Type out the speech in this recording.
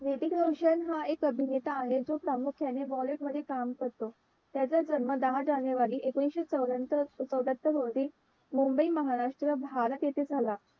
हृतिक रोशन हा एक अभिनेता आहे. जो प्रामुख्याने bollywood मध्ये काम करतो त्याचा जन्म दहा जानेवारी एकोणविशे चैरात्तर चैरात्तर रोजी मुंबई महाराष्ट्र भारत इथे झाला.